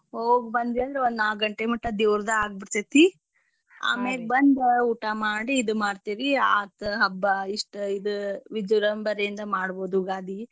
ಹೋಗ್ ಬಂದ್ವಿಯಂದ್ರ ಒಂದ್ ನಾಕ್ಗಂಟೆ ಮಟಾ ದೇವ್ರದ್ ಆಗ್ಬೀಡ್ತೇತಿ. ಬಂದ್ ಊಟಾ ಮಾಡಿ ಇದ್ ಮಾಡ್ತಿವ್ರಿ ಆತ್ ಹಬ್ಬಾ ಇಸ್ಟ್ ಇದ್ ವಿಜೃಂಭಣೆಯಿಂದ ಮಾಡ್ಬೋದ್ ಉಗಾದಿ.